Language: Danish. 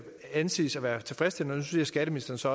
anses for at være tilfredsstillende og nu siger skatteministeren så